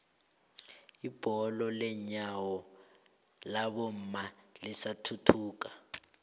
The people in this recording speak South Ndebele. ibholo lenyawo labomma lisathuthuka